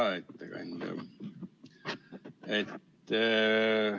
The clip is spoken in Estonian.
Hea ettekandja!